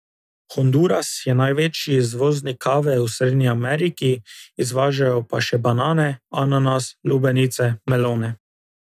Honduras je največji izvoznik kave v Srednji Ameriki, izvažajo pa še banane, ananas, lubenice, melone.